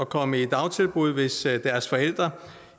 komme i dagtilbud hvis deres forældre